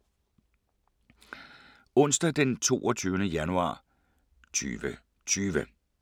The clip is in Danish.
Onsdag d. 22. januar 2020